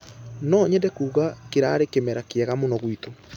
Nũ nyenda kuuga kĩrarĩ kĩmera kĩega mũno gwitũ.